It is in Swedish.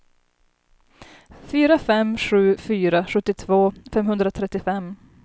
fyra fem sju fyra sjuttiotvå femhundratrettiofem